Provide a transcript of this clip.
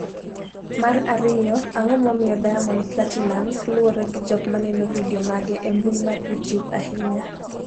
mar ariyo, Ang’o momiyo Diamond Platinumz luwre gi jok maneno vidio mage e mbui mar Youtube ahinya?